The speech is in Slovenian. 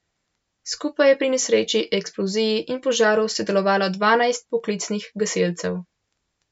Skupaj je pri nesreči, eksploziji in požaru sodelovalo dvanajst poklicnih gasilcev.